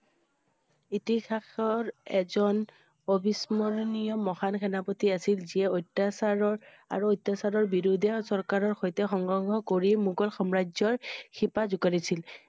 ইতিহাসৰ এজন অভিস্মৰ্ণীয় মহান সেনাপতি আছিল যিয়ে অত্যাচাৰৰ আৰু অত্যাচাৰৰ বিৰুদ্ধে চৰকাৰৰ শৈতে সংঘৰ্ষ কৰি মুঘল সাম্ৰাজ্যৰ শিপা যুকাৰিছিল।